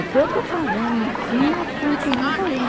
O que eu estou fazendo assim, eu continuo fazendo.